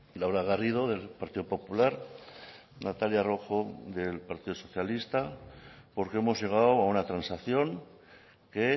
laura garrido del partido popular natalia rojo del partido socialista porque hemos llegado a una transacción que